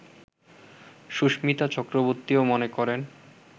সুস্মিতা চক্রবর্তীও মনে করেন